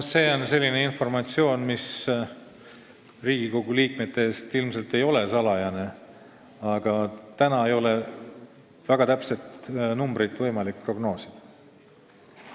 See on selline informatsioon, mis Riigikogu liikmete jaoks ilmselt ei ole salajane, aga täna ei ole väga täpseid arve võimalik prognoosida.